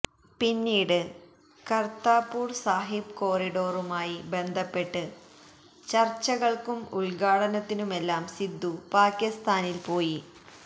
പിന്നീട് കര്താപൂര് സാഹിബ് കോറിഡോറുമായി ബന്ധപ്പെട്ട് ചര്്ച്ചകള്ക്കും ഉദ്ഘാടനത്തിനുമെല്ലാം സിധു പാകിസ്താനില് പോയി